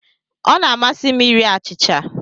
Ọ na-amasị m iri achịcha.